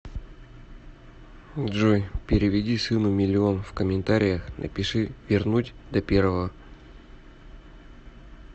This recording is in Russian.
джой переведи сыну миллион в комментариях напиши вернуть до первого